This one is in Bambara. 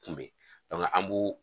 an b'u